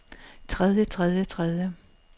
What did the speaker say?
tredje tredje tredje